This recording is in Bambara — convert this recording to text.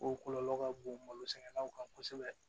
O kɔlɔlɔ ka bon malosɛnɛlaw kan kosɛbɛ